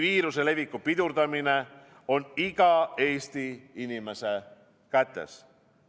Viiruse leviku pidurdamine on iga Eesti inimese kätes.